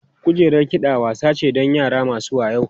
Kujerar kiɗa wasa ce don yara masu wayau.